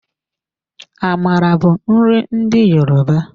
Amala bụ nri ndị Yoruba.